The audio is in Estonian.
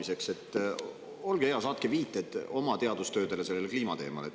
] Olge hea, saatke viited oma teadustöödele sellel kliimateemal.